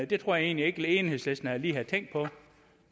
det tror jeg egentlig ikke enhedslisten lige havde tænkt på